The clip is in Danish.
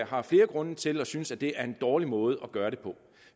har flere grunde til at synes at det er en dårlig måde at gøre det på